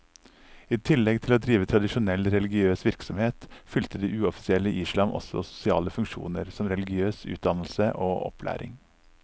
I tillegg til å drive tradisjonell religiøs virksomhet, fylte det uoffisielle islam også sosiale funksjoner som religiøs utdannelse og opplæring.